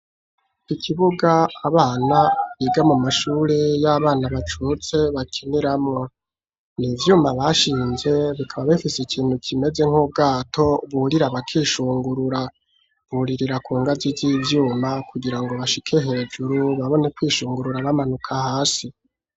Ikibuga abana biga mu mashure y'abana bacutse bakiniramwo. Ni ivyuma bashinze, bikaba bifise ikintu kimeze nk'ubwato burira bakishungurura. Buririra ku ngazi z'ivyuma kugira ngo bashike hejuru, babone kwishungurura, bamanuka hasi.